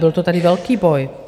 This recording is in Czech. Byl to tady velký boj.